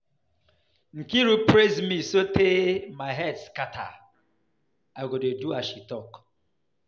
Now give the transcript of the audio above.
Nkiru praise me so tey my head scatter, I go dey do as she talk.